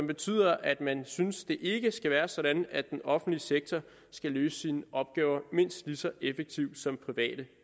betyder at man synes at det ikke skal være sådan at den offentlige sektor skal løse sine opgaver mindst lige så effektivt som private